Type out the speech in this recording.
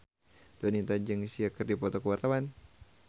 Donita jeung Sia keur dipoto ku wartawan